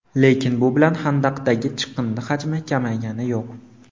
Lekin bu bilan xandaqdagi chiqindi hajmi kamaygani yo‘q.